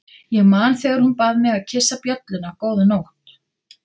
Ég man þegar hún bað mig að kyssa bjölluna góða nótt.